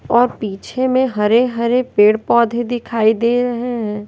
और पीछे में हरे हरे पेड़ पौधे दिखाई दे रहे हैं।